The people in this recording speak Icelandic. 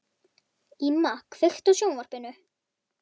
Íma, kveiktu á sjónvarpinu.